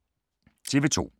TV 2